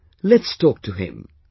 Come, let's talk to him